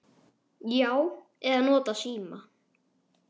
Já. eða notað símann.